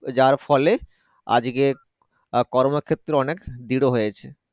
যার ফলে আজকে কর্মক্ষেত্র অনেক দৃঢ় হয়েছে।